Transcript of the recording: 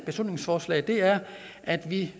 beslutningsforslag er at vi